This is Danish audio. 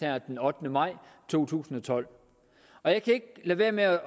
her den ottende maj to tusind og tolv og jeg kan ikke lade være med